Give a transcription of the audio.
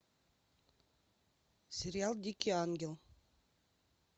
сериал дикий ангел